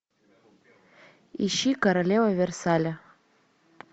ищи королева версаля